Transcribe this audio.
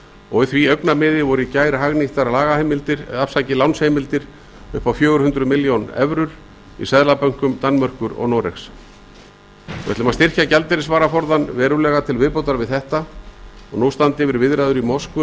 og í því augnamiði voru í gær hagnýttar lánsheimildir upp á fjögur hundruð milljón evrur í seðlabönkum danmerkur og noregs við ætlum að styrkja gjaldeyrisvaraforðann verulega til viðbótar við þetta og nú standa yfir viðræður í moskvu um